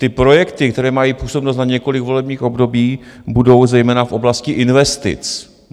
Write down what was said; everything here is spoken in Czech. Ty projekty, které mají působnost na několik volebních období, budou zejména v oblasti investic.